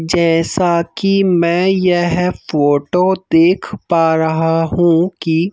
जैसा कि मैं यह फोटो देख पा रहा हूँ कि--